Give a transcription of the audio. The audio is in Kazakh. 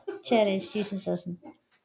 жарайт істейсің сосын